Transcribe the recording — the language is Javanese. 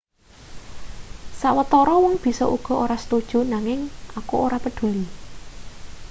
sawetara wong bisa uga ora setuju nanging aku ora peduli